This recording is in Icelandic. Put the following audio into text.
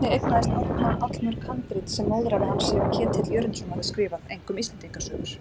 Einnig eignaðist Árna allmörg handrit sem móðurafi hans séra Ketill Jörundsson hafði skrifað, einkum Íslendingasögur.